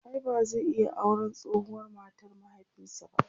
ai ba zai iya auran tsohuwar matar mahaifinsa ba?